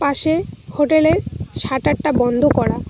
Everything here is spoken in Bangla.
পাশে হোটেলের সাটারটা বন্ধ করা।